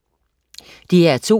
DR2: